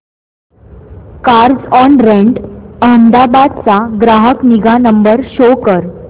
Carzonrent Ahmedabad चा ग्राहक निगा नंबर शो कर